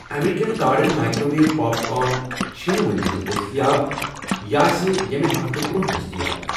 American garden microwave popcorn چھنہٕ وُکینَس دٔستِیاب، یہِ آسہِ ییٚمہِ ہفتہٕ برونٛہہ دٔستِیاب۔